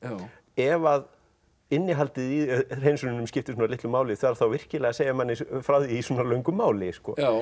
ef að innihaldið í hreinsununum skiptir svona litlu máli þarf þá virkilega að segja frá því í svona löngu máli